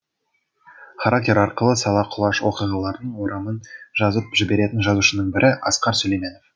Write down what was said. характер арқылы сала құлаш оқиғалардың орамын жазып жіберетін жазушының бірі асқар сүлейменов